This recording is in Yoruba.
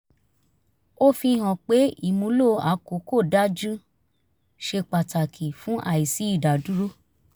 ó fi hàn pé ìmúlò àkókò dájú ṣe pàtàkì fún àìsí ìdádúró